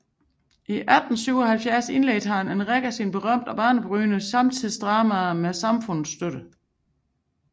I 1877 indledte han rækken af sine berømte og banebrydende samtidsdramaer med Samfundets støtter